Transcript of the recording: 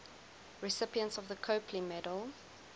recipients of the copley medal